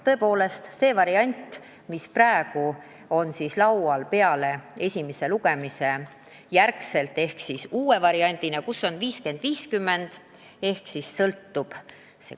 Tõepoolest, see lahendus, mis praegu pärast esimest lugemist uue variandina meil laual on, näeb ette skeemi 50 : 50.